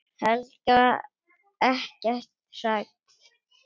Helga: Ekkert hrædd?